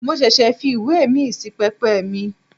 Mo ṣẹ̀ṣẹ̀ fi ìwé míì sí pẹpẹ mi.